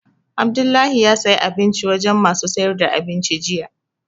Abdullahi ya saya abinci wajen masu sayar da abinci jiya